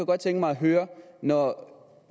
godt tænke mig at høre når